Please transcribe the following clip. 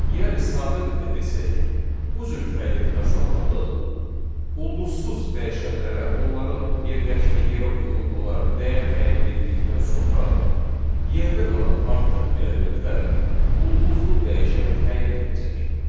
Yəni sadə dildə desək, bu cür təyin etmə zamanı ulduzsuz dəyişənlərə onların yerləşdiyi yerə uyğun olaraq dəyər təyin edildikdən sonra yerdə qalan artıq elementlər ulduzlu dəyişənə təyin ediləcək.